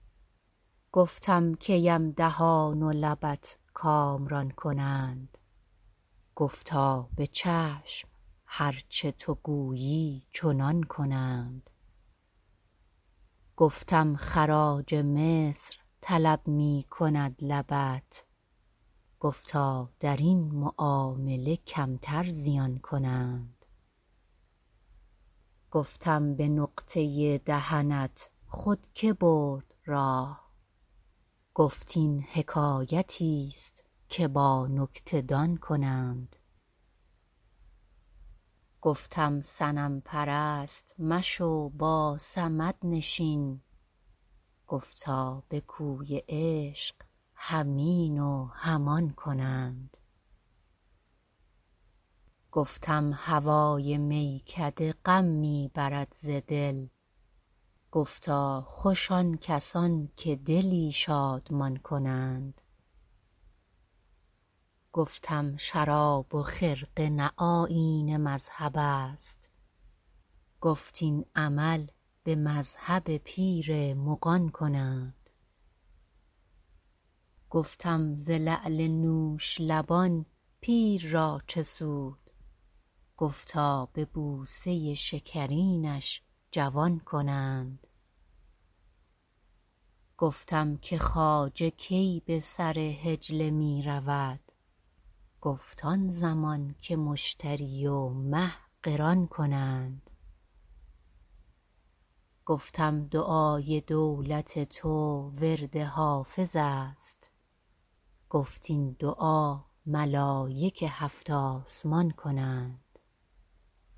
گفتم کی ام دهان و لبت کامران کنند گفتا به چشم هر چه تو گویی چنان کنند گفتم خراج مصر طلب می کند لبت گفتا در این معامله کمتر زیان کنند گفتم به نقطه دهنت خود که برد راه گفت این حکایتیست که با نکته دان کنند گفتم صنم پرست مشو با صمد نشین گفتا به کوی عشق هم این و هم آن کنند گفتم هوای میکده غم می برد ز دل گفتا خوش آن کسان که دلی شادمان کنند گفتم شراب و خرقه نه آیین مذهب است گفت این عمل به مذهب پیر مغان کنند گفتم ز لعل نوش لبان پیر را چه سود گفتا به بوسه شکرینش جوان کنند گفتم که خواجه کی به سر حجله می رود گفت آن زمان که مشتری و مه قران کنند گفتم دعای دولت او ورد حافظ است گفت این دعا ملایک هفت آسمان کنند